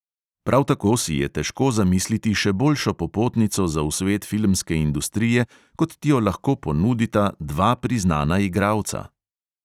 Prav tako si je težko zamisliti še boljšo popotnico za v svet filmske industrije, kot ti jo lahko ponudita dva priznana igralca.